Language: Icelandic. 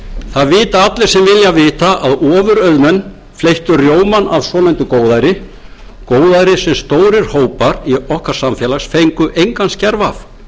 það vita allir sem vilja vita að ofurauðmenn fleyttu rjómann af svonefndu góðæri góðæri sem stórir hópar okkar samfélags fengu engan skerf af